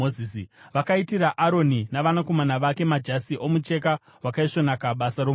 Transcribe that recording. Vakaitira Aroni navanakomana vake, majasi omucheka wakaisvonaka, basa romuruki,